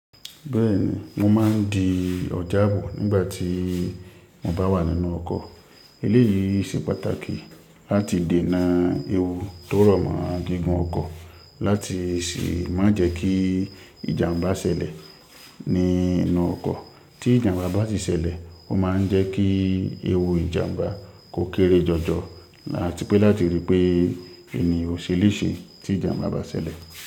Bẹ́ẹ̀ni, mo máa ń di ọ̀ja abo nígbà tí mo bá wà nínú ọkọ̀. Eléyìí ṣe pàtàkì láti dènà ewu tó rọ̀ mọ́ gígùn ọkọ̀ láti sì má jẹ́ kí ìjàmbá ṣẹlẹ̀ nínú ọkọ̀. Tí ìjàmbá bá ti ṣẹlẹ̀, ó máa ń jẹ́ kí ewu ìjàmbá kó kéré jọjọ ati pé láti rí pé ènìyàn ò ṣe léṣe tí ìjàmbá bá ṣẹlẹ̀